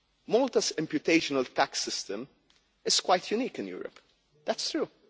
Malta's imputation tax system is quite unique in Europe, that's true.